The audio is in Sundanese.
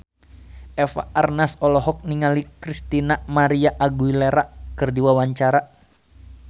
Eva Arnaz olohok ningali Christina María Aguilera keur diwawancara